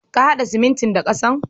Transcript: Ka haɗa siminti da ƙasan.